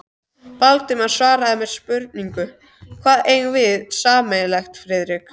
Valdimar svaraði með spurningu: Hvað eigum við sameiginlegt, Friðrik?